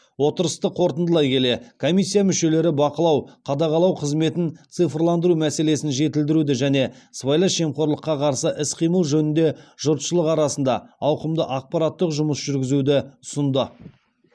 отырысты қорытындылай келе комиссия мүшелері бақылау қадағалау қызметін цифрландыру мәселесін жетілдіруді және сыбайлас жемқорлыққа қарсы іс қимыл жөнінде жұртшылық арасында ауқымды ақпараттық жұмыс жүргізуді ұсынды